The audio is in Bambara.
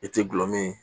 I tɛ gulɔ min ye